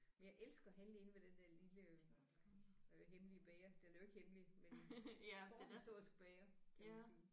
Men jeg elsker at handle inde ved den der lille øh hemmelige bager den er jo ikke hemmelig men forhistorisk bager kan man sige